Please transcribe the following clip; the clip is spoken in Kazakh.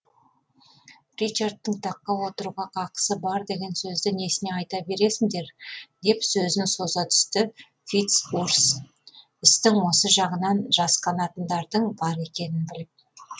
ричардтың таққа отыруға қақысы бар деген сөзді несіне айта бересіңдер деп сөзін соза түсті фиц урс істің осы жағынан жас қанатындардың бар екенін біліп